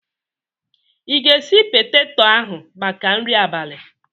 I ga-esi peteto ahụ maka nri abalị?